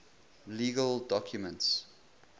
legal documents